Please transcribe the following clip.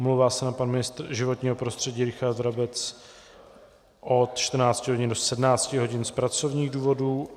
Omlouvá se nám pan ministr životního prostředí Richard Brabec od 14 hodin do 17 hodin z pracovních důvodů.